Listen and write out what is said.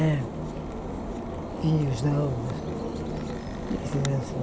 É. Vinhos, esses assim.